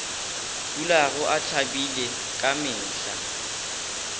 dulago a thabile ka mehla